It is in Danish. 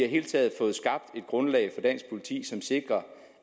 hele taget fået skabt et grundlag for dansk politi som sikrer